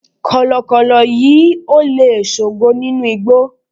kọlọkọlọ yíò le sogo ninu igbó